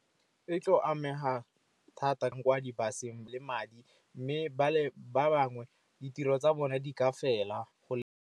E tlo amega thata kwa di-bus-, eng le madi, mme ba bangwe ditiro tsa bone di ka fela.